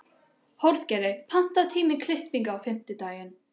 Hróðgeir, pantaðu tíma í klippingu á fimmtudaginn.